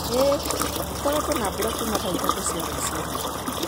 Ĩĩ, gũkoretwo na mbura kuuma thaa ithatũ cia rũcinĩ.